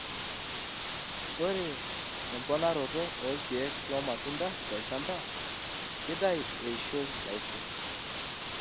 Ore emponaroto oo kiek loo matunda tolchamba keitayu eishoi nalus.